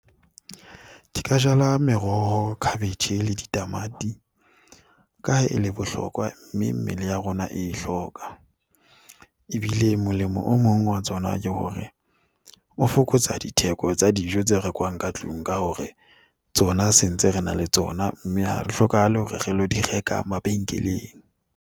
Ka meroho, cabbage le ditamati ka ha e le bohlokwa mme mmele ya rona e hloka. Ebile molemo o mong wa tsona ke hore o fokotsa ditheko tsa dijo tse rekwang ka tlung ka hore tsona se ntse re na le tsona, mme ha re hlokahale hore re ilo di reka mabenkeleng.